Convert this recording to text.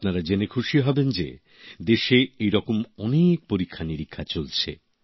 আপনারা জেনে খুশি হবেন যে দেশে এরকম অনেক পরীক্ষানিরীক্ষা চলছে